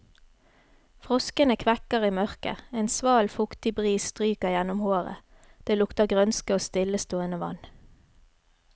Froskene kvekker i mørket, en sval, fuktig bris stryker gjennom håret, det lukter grønske og stillestående vann.